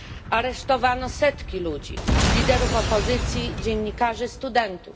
Aresztowano setki ludzi, liderów opozycji, dziennikarzy, studentów.